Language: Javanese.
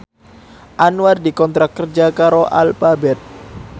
Anwar dikontrak kerja karo Alphabet